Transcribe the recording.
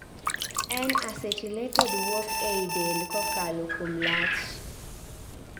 N-acetylated wuok ei del kakalo kuom lach